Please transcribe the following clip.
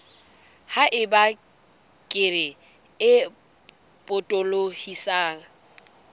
ha eba kere e potolohisang